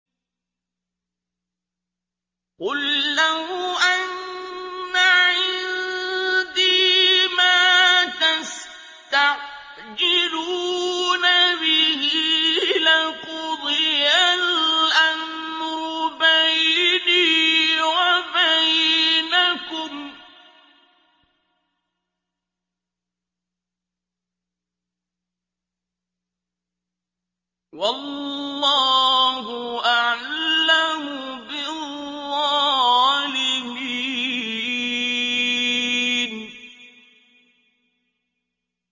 قُل لَّوْ أَنَّ عِندِي مَا تَسْتَعْجِلُونَ بِهِ لَقُضِيَ الْأَمْرُ بَيْنِي وَبَيْنَكُمْ ۗ وَاللَّهُ أَعْلَمُ بِالظَّالِمِينَ